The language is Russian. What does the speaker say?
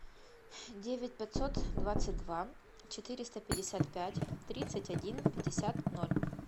девять пятьсот двадцать два четыреста пятьдесят пять тридцать один пятьдесят ноль